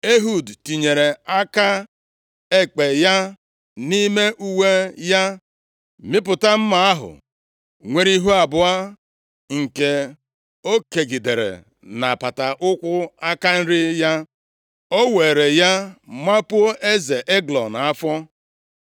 Ehud tinyere aka ekpe ya nʼime uwe ya, mịpụta mma ahụ nwere ihu abụọ nke o kegidere nʼapata ụkwụ aka nri ya. O weere ya mapuo eze Eglọn afọ.